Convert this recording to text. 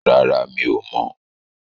Rárá, mi ò mọ̀.